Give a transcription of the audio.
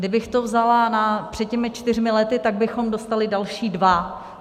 Kdybych to vzala před těmi čtyřmi lety, tak bychom dostali další dva.